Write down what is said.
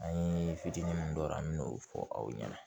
An ye fitini min don an me n'o fɔ aw ɲɛna